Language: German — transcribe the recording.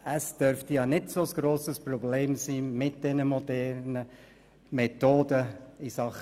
Es dürfte kein so grosses Problem sein, mit den modernen Methoden dezentral zu arbeiten.